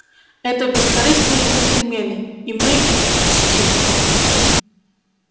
это бескорыстные джентльмены и мы их чтим